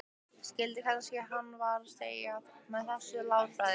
Skildi strax hvað hann var að segja með þessu látbragði.